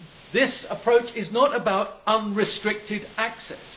This approach is not about unrestricted access.